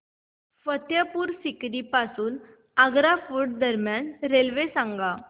फतेहपुर सीकरी पासून आग्रा फोर्ट दरम्यान रेल्वे सांगा